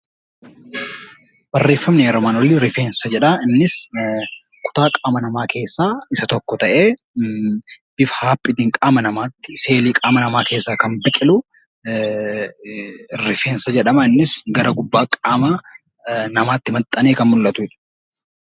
Barreeffamni armaan olii rifeensa jedha. Innis kutaa qaama namaa keessaa isa tokko ta'ee, bifa hapheetiin qaama namaa seenee qaama namaa keessaa kan biqilu rifeensa jedhama. Innis gara gubbaa qaama namaatti maxxanee kan mul'atu jechuudha.